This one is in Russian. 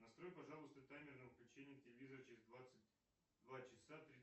настрой пожалуйста таймер на выключение телевизора через двадцать два часа